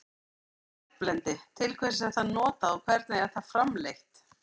Hvað er járnblendi, til hvers er það notað og hvernig er það framleitt?